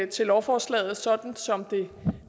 til lovforslaget sådan som det